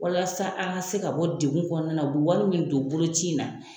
Walasa a ka se ka bɔ degun kɔnɔna na, u bi wari min don boloci in na